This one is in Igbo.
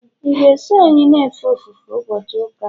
ị ga-eso anyị na-efe ofufe ụbọchị ụka a?